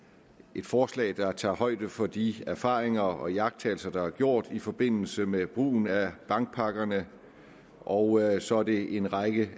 et forslag der tager højde for de erfaringer og iagttagelser der er gjort i forbindelse med brugen af bankpakkerne og så er det en række